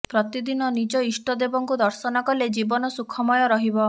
ପ୍ରତିଦିନ ନିଜ ଇଷ୍ଟଦେବଙ୍କୁ ଦର୍ଶନ କଲେ ଜୀବନ ସୁଖମୟ ରହିବ